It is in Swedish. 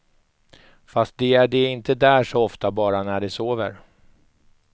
Fast de är de inte där så ofta, bara när de sover.